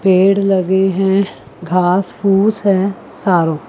पेड़ लगे हैं घास फूस हैं सारों।